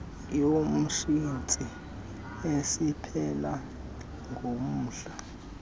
yomsintsi eziphela ngomhla